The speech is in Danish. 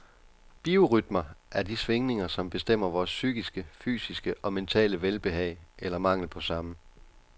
Biorytmer er de svingniger, som bestemmer vores psykiske, fysiske og mentale velbehag, eller mangel på samme.